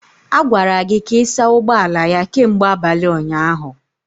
A gwara gị ka ị saa ụgbọ ala ya kemgbe abalị ụnyaahụ